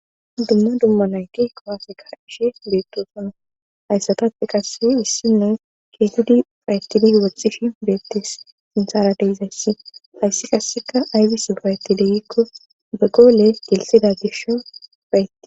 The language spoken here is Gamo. dumma dumma nayki kowafeka ishe beettosono hayssatape qase issinu keetidi payettidi woxxishi beettes sinsara deizayssi ayssi qasseka aybisi payetidegikko be goole gelsida gisho payetti